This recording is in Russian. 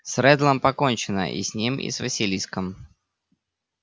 с реддлом покончено и с ним и с василиском